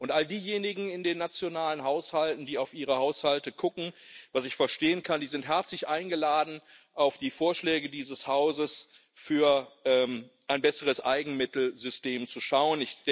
Und an all diejenigen in den nationalen Haushalten, die auf ihre Haushalte gucken, was ich verstehen kann Sie sind herzlich eingeladen, auf die Vorschläge dieses Hauses für ein besseres Eigenmittelsystem zu schauen.